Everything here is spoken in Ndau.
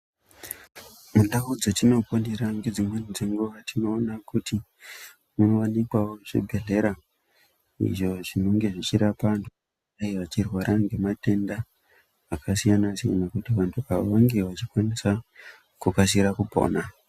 Mundau dzatinoponera ngedzimwe dzenguva tinoona kuti munowanikwawo zvibhehlera izvo zvinenge zvichirapa antu vanenge vechirwara ngematenda aka siyana siyana kuti vantu ava vange vachikwanisa kukasira pona.